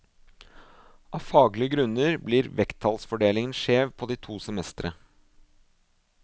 Av faglige grunner blir vekttallsfordelingen skjev på de to semestre.